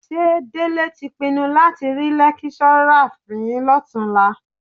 Ṣé Délé tí pinnu láti rí lẹ́kíṣọ́rà fín lọ́tùnúnlá?